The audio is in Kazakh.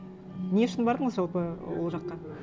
не үшін бардыңыз жалпы ол жаққа